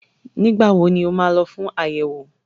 Nígbà wo ni ó máa lọ fún àyẹ̀wò?